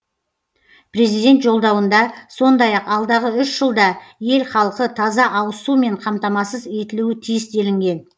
президент жолдауында сондай ақ алдағы үш жылда ел халқы таза ауыз сумен қамтамасыз етілуі тиіс делінген